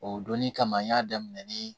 O donni kama n y'a daminɛ nii